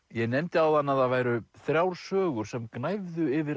ég nefndi áðan að það væru þrjár sögur sem gnæfðu yfir